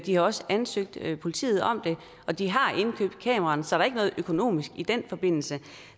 har også ansøgt politiet om det og de har indkøbt kameraerne så der er ikke noget økonomisk i den forbindelse